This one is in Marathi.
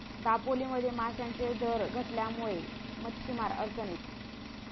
दापोलीमध्ये माशांचे दर घटल्यामुळे मच्छीमार अडचणीत